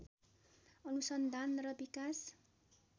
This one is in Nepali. अनुसन्धान र विकास